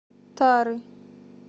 тары